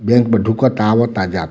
bank में ढुकता आवता जात --